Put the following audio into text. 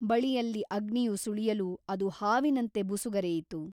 ಬಳಿಯಲ್ಲಿ ಅಗ್ನಿಯು ಸುಳಿಯಲು ಅದು ಹಾವಿನಂತೆ ಬುಸುಗರೆಯಿತು.